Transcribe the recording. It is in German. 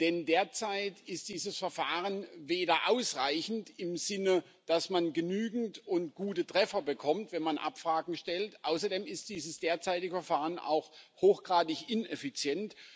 Denn derzeit ist dieses Verfahren weder ausreichend, im Sinne, dass man genügend und gute Treffer bekommt, wenn man Abfragen durchführt. Außerdem ist das derzeitige Verfahren auch hochgradig ineffizient.